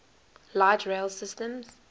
light rail systems